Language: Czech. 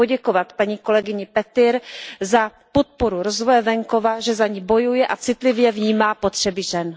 Chci poděkovat paní kolegyni Petirové za podporu rozvoje venkova, že za ni bojuje a citlivě vnímá potřeby žen.